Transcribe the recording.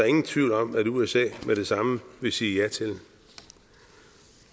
ingen tvivl om at usa med det samme ville sige ja til